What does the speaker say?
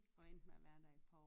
Og endte med at være der et par år